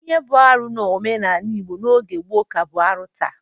Ihe bụ arụ n'omenala Igbo n'oge gboo ka bụ arụ taa.